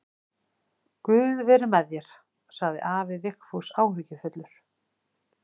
Guð veri með þér, sagði afi Vigfús áhyggjufullur.